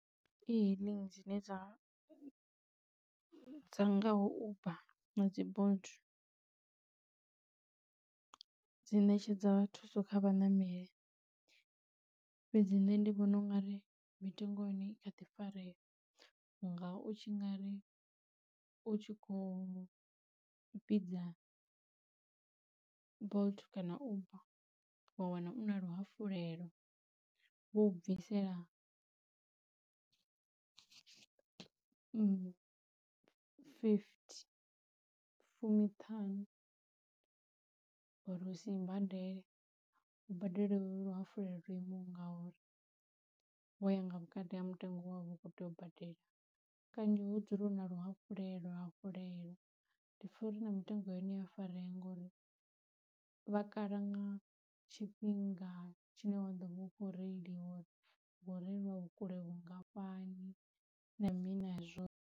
e-hailing dzine dza dza ngaho Uber na dzi Bolt dzi ṋetshedza thuso kha vhaṋameli, fhedzi nṋe ndi vhona ungari mitengo ya hone I kha ḓi farea ngau tshi nga ri u tshi khou vhidza Bolt kana Uber wa wana u na luhafhulelo vho u bvisela fifty fumiṱhanu uri usi i badele u badele luhafhulelo lo imaho ngauri vhoya nga vhukati ha mutengo we wavha u kho tea u badela. Kanzhi hu dzulela uvha na luhafhulelo hafhululelo ndi pfha uri na mitengo yo hone i a farea ngori vha kala nga tshifhinga tshine wa ḓo vha u kho reiliwa ngo reiliwa vhukule vhungafhani na mini na zwothe.